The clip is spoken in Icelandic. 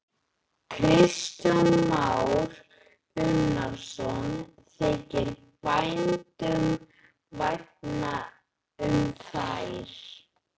Kristján Már Unnarsson: Þykir bændum vænna um þær?